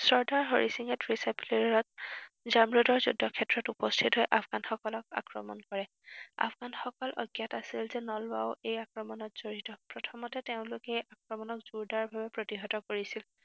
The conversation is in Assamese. চৰ্দাৰ হৰি সিঙে ত্ৰিশ এপ্ৰিলত, জামৰোডৰ যুদ্ধক্ষেত্ৰত উপস্থিত হৈ আফগানসকলক আক্ৰমণ কৰে। আফগানসকল অজ্ঞাত আছিল যে নলোৱাও এই আক্ৰমণত জড়িত। প্ৰথমতে তেওঁলোকে আক্ৰমণক জোৰদাৰভাৱে প্ৰতিহত কৰিছিল।